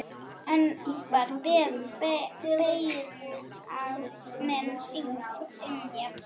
Enn var beiðni minni synjað.